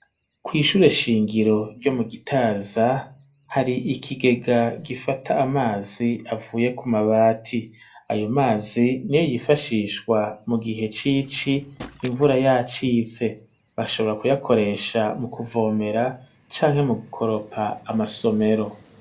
Kw'ishure shingiro ryo mu gitaza hari ikigega gifata amazi avuye ku mabati ayo mazi ni yo yifashishwa mu gihe cici imvura yacitse, bashobora kuyakoresha mu kuvomera canke mu gukoropa amasomero.